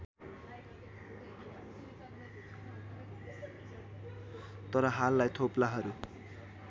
तर हाललाई थोप्लाहरू